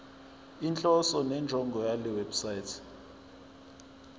inhloso nenjongo yalewebsite